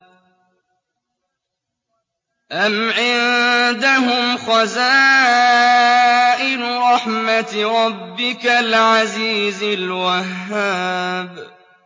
أَمْ عِندَهُمْ خَزَائِنُ رَحْمَةِ رَبِّكَ الْعَزِيزِ الْوَهَّابِ